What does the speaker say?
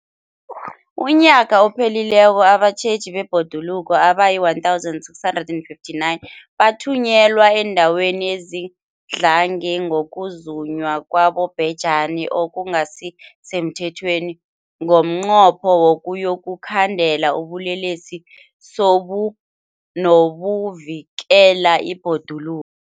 UmNnyaka ophelileko abatjheji bebhoduluko abayi-1 659 bathunyelwa eendaweni ezidlange ngokuzunywa kwabobhejani okungasi semthethweni ngomnqopho wokuyokukhandela ubulelesobu nokuvikela ibhoduluko.